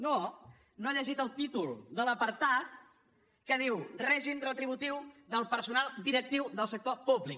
no no ha llegit el títol de l’apartat que diu règim retributiu del personal directiu del sector públic